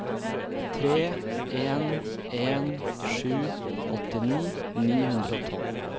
tre en en sju åttini ni hundre og tolv